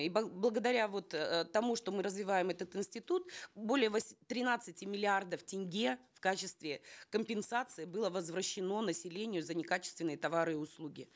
и благодаря вот э тому что мы развиваем этот институт более тринадцати миллиардов тенге в качестве компенсации было возвращено населению за некачественные товары и услуги